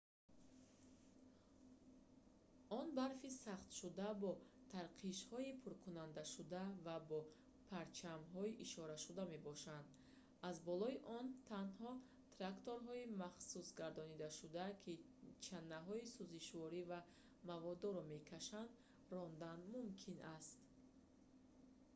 он барфи сахтшуда бо тарқишҳои пуркардашуда ва бо парчамҳо ишорашуда мебошад аз болои он танҳо тракторҳои махсусгардонидашударо ки чанаҳои сӯзишворӣ ва маводдорро мекашонанд рондан мумкин аст